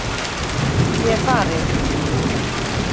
Ég er farin.